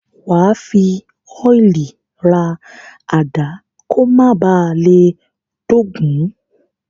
Wà á fi ọ́ìlì ra àdá kó ba à má le dógùn-ún.